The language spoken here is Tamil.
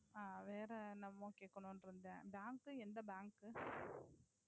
வேற என்னமோன்னு கேக்கனுண்முன்னு இருந்தேன் எந்த Bank